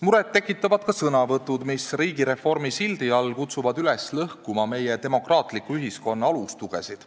Muret tekitavad ka sõnavõtud, mis riigireformi sildi all kutsuvad üles lõhkuma meie demokraatliku ühiskonna alustugesid.